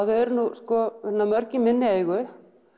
þau eru nú sko mörg í minni eigu